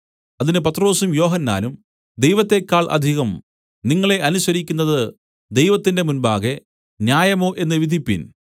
അതിന് പത്രൊസും യോഹന്നാനും ദൈവത്തേക്കാൾ അധികം നിങ്ങളെ അനുസരിക്കുന്നത് ദൈവത്തിന്റെ മുമ്പാകെ ന്യായമോ എന്ന് നിങ്ങൾ വിധിപ്പിൻ